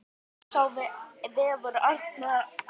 Að sér vefur Árna betur